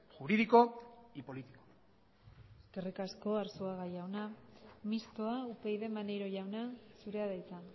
jurídico y político eskerrik asko arzuaga jauna mistoa upyd maneiro jauna zurea da hitza